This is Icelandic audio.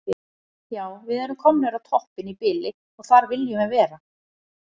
Já við erum komnir á toppinn í bili og þar viljum við vera.